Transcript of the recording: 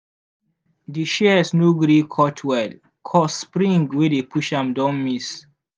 di shears no gree cut well 'cause spring wey dey push am don miss.